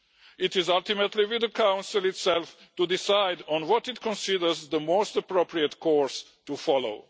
It is ultimately up to Council itself to decide what it considers the most appropriate course to follow.